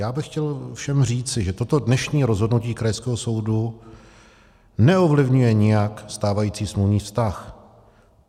Já bych chtěl všem říci, že toto dnešní rozhodnutí krajského soudu neovlivňuje nijak stávající smluvní vztah.